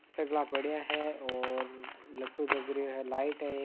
सगला पड़या है और लटटू जग रहियो है लाइट है।